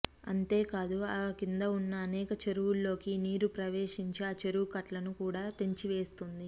అంతేకాదు ఆ కింద ఉన్న అనేక చెరువ్ఞల్లోకి ఈ నీరు ప్రవేశించి ఆ చెరువ్ఞ కట్టలను కూడా తెంచివేస్తుంది